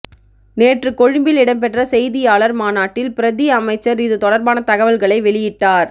நேற்று கொழும்பில் இடம்பெற்ற செய்தியாளர் மாநாட்டில் பிரதி அமைச்சர் இது தொடர்பான தகவல்களை வெளியிட்டார்